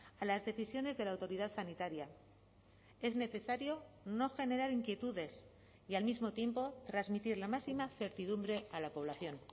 a las decisiones de la autoridad sanitaria es necesario no generar inquietudes y al mismo tiempo transmitir la máxima certidumbre a la población